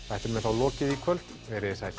þættinum er þá lokið í kvöld veriði sæl